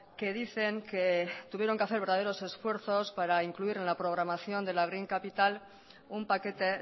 que dicen que tuvieron que hacer verdaderos esfuerzos para incluir en la programación de la green capital un paquete